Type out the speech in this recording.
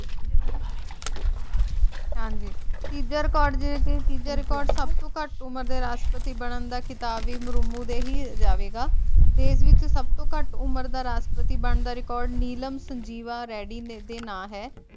ਹਾਂਜੀ ਤੀਜਾ ਰਿਕਾਰਡ ਜੇ ਕੀ ਤੀਜਾ ਰਿਕਾਰਡ ਸਬ ਤੋ ਘਟ ਉਮਰ ਰਾਸ਼ਟਰਪਤੀ ਬਣਨ ਦਾ ਖਿਤਾਬ ਮ੍ਰੁਮੁ ਦੇ ਹੀ ਜਾਵੇਗਾ ਦੇਸ਼ ਦੇ ਵਿਚੇ ਸਭ ਤੋ ਘਟ ਉਮਰ ਦਾ ਰਾਸ਼ਟਰਪਤੀ ਬਣਨ ਦਾ ਰਿਕਾਰਡ ਨੀਲਾਮ ਸੰਜੀਵ ਰੇਡੀ ਦੇ ਨਾਮ ਹੈ ।